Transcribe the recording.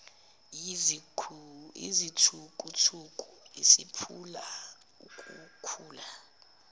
yizithukuthuku isiphula ukhula